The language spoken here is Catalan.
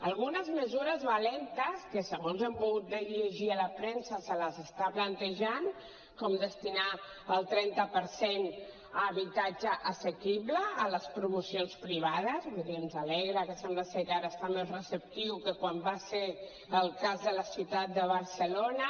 algunes mesures valentes que segons hem pogut llegir a la premsa se les està plantejant com destinar el trenta per cent a habitatge assequible a les promocions privades vull dir ens alegra que sembla ser que ara està més receptiu que quan va ser al cas de la ciutat de barcelona